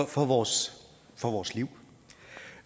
for vores for vores liv